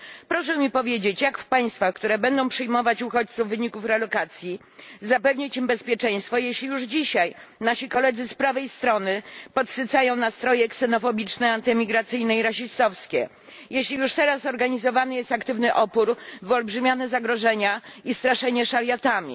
Proszę mi powiedzieć, jak w państwach, które będą przyjmować uchodźców w wyniku relokacji, zapewnić im bezpieczeństwo, jeśli już dzisiaj nasi koledzy z prawej strony podsycają nastroje ksenofobiczne, antyimigracyjne i rasistowskie, jeśli już teraz organizowany jest aktywny opór, wyolbrzymiane są zagrożenia i straszy się szariatami?